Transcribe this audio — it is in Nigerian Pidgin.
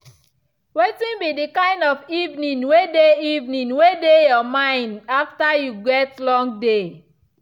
wetin be the kind of evening way dey evening way dey your mind after you get long day.